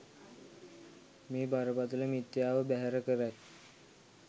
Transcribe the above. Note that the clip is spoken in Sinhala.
මේ බරපතළ මිථ්‍යාව බැහැර කරයි.